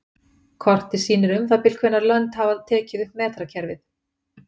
Kortið sýnir um það bil hvenær lönd hafa tekið upp metrakerfið.